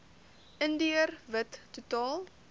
indiër wit totaal